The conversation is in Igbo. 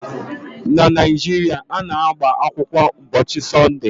Na Naịjiria, a na-agba akwụkwọ ụbọchị Sọnde